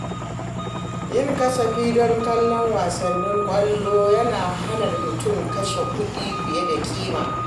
Yin kasafi don kallon wasannin ƙwallo yana hana mutum kashe dukiya fiye da kima.